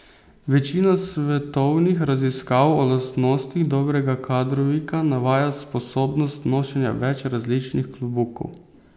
Večina svetovnih raziskav o lastnostih dobrega kadrovika, navaja sposobnost nošenja več različnih klobukov.